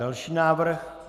Další návrh?